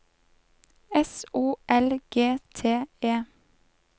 S O L G T E